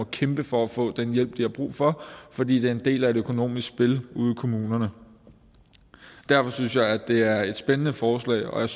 kæmpe for at få den hjælp de har brug for fordi det er en del af et økonomisk spil ude i kommunerne derfor synes jeg at det er et spændende forslag